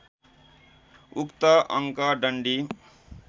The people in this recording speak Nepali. उक्त अङ्क डन्डी